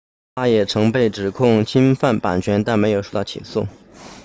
他也曾被指控侵犯版权但没有受到起诉